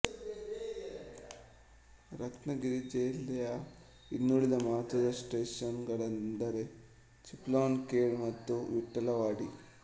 ರತ್ನಾಗಿರಿಜಿಲ್ಲೆಯ ಇನ್ನುಳಿದ ಮಹತ್ವದ ಸ್ಟೇಶನ್ ಗಳೆಂದರೆ ಚಿಪ್ಲನ್ ಖೆಡ್ ಮತ್ತು ವಿಠಲವಾಡಿ